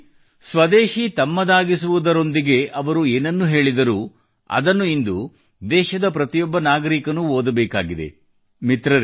ಮುಖ್ಯವಾಗಿ ಸ್ವದೇಶಿ ತಮ್ಮದಾಗಿಸುವುದರೊಂದಿಗೆ ಅವರು ಏನನ್ನು ಹೇಳಿದರು ಅದನ್ನು ಇಂದು ದೇಶದ ಪ್ರತಿಯೊಬ್ಬ ನಾಗರಿಕನು ಓದಬೇಕಾಗಿದೆ